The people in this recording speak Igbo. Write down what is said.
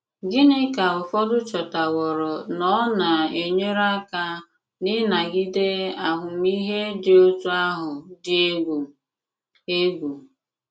Gịnị ka ụfọdụ chòtàwòrò na ọ na-enyère àka n’ịnagìdé àhụ̀mìhè dị otú àhụ̀ dị ègwù? ègwù?